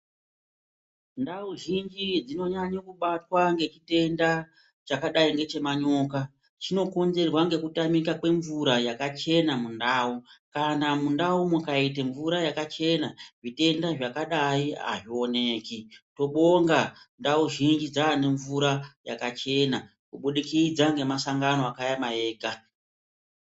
Ntawo zhinji dzinonyanye kubatwa ne ntenda chakadai chemanyoka, chinokonzerwa ngekutamika kwemvura yakachena muntawo, kana muntawo mukaite mvura yakachena zvitenda zvakadai hazviwoneki. Tobonga ntawo zhinji dzaanemvura yakachena kubudikidza ngema sangano akayamaega.